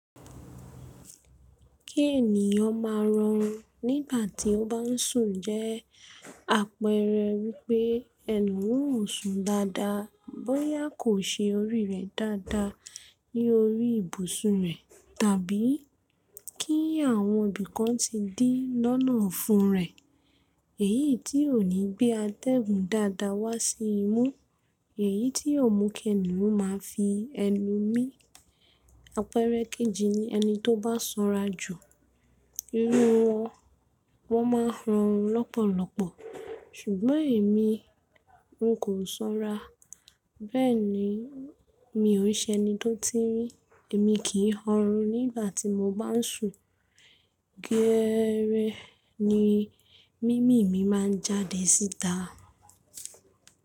Kí ènìyàn máa rọrùn nígbà tí ó bá ń sùn jẹ́ àpẹẹrẹ wípé ẹni oun oosùn dáadáa, bóyá kò se orí rẹ̀ dáadáa ní orí ibùsùn rẹ̀, tàbí kí àwọn ibìkan tí dí lọ́nà ọ́fún rẹ̀, èyí tí ò ní gbé atẹ́gun dáadáa wá sí imú, èyí tí ọ̀mù kẹ́ni máa fi ẹnu mí. Àpẹẹrẹ kejì ni ẹni tó bá sanra jù irú wọn, wọ́n máa ń rọrùn lọ́pọ̀lọpọ̀. Ṣùgbọ́n èmi n kò sanra, bẹ́ẹ̀ni mi ò ṣe ẹni tó tinrin, èmi kì í họrùn nígbà tí mo bá ń sùn, géẹrẹ ni mímì mi máa jáde síta.